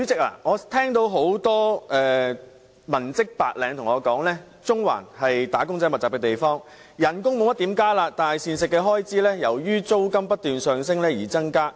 主席，有很多文職、白領人士告訴我，中環是"打工仔"密集的地區，工資沒有怎麼增加，但膳食開支卻由於租金不斷上升而增加。